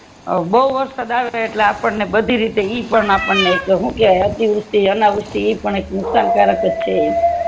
બૌ વરસાદ આવે એટલે આપણને બધી રીતે ઈ પણ આપણને કૈક હું કે અતીવૃતી અનાવૃતી પણ એક નુકશાન કરક્જ છે એમ